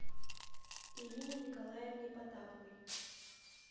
ирине николаевне потаповой